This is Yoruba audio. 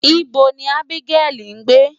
Ibo ni Ábígẹ́lì ń gbé?